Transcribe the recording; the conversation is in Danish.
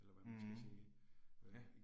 Mh, ja